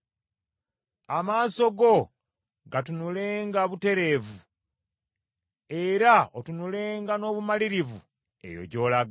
Amaaso go gatunulenga butereevu, era otunulenga n’obumalirivu eyo gy’olaga.